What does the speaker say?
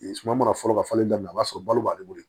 Suma mana foro ka falen daminɛ a b'a sɔrɔ balo b'ale bolo